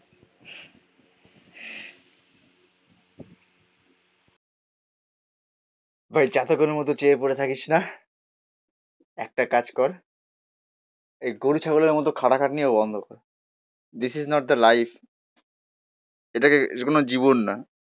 ভাই চাতকের মত চেয়ে পড়ে থাকিস না একটা কাজ কর. এই গরু, ছাগলের মতো খাটাখাটনিও বন্ধ কর this is not the life এটাকে যেকোনো জীবন না